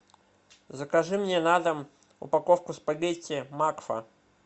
закажи мне на дом упаковку спагетти макфа